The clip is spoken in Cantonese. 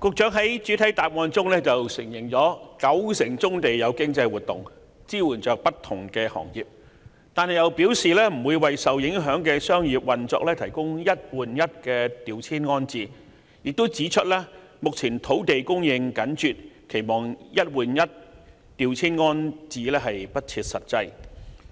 局長在主體答覆內承認九成棕地有經濟活動，支援不同行業，但卻表示不會為受影響的商業運作提供"一換一"調遷安置，又指出目前土地供應緊絀，期望當局提供"一換一"調遷安置是不切實際。